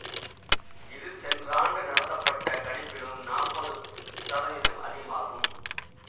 இது சென்ற ஆண்டு நடத்தப்பட்ட கணிப்பிலும் நாற்பது சதவிதம் அதிகமாகும்